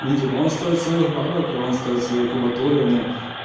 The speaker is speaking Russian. ну типа он стоит своих денег и он стоит своей кубатуры ну